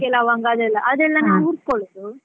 ಚಕ್ಕೆ, ಲವಂಗ ಅದೆಲ್ಲ ಅದೆಲ್ಲ ನಾವ್ ಹುರ್ಕೊಳೋದು.